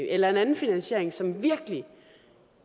eller en anden finansiering som virkelig